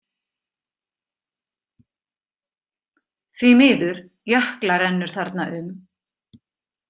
Því miður, Jökla rennur þarna um.